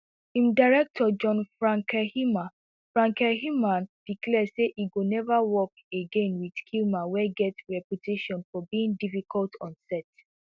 im director john frankenheimer frankenheimer declare say e go never work again with kilmer wey get a reputation for being difficult on set